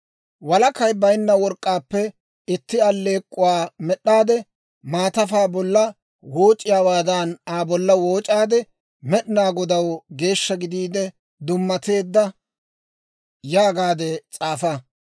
«Walakay baynna work'k'aappe itti alleek'k'uwaa med'd'aade maatafaa bolla wooc'iyaawaadan, Aa bolla wooc'aade, ‹Med'inaa Godaw Geeshsha gidiide Dummateedda› yaagaadde s'aafa.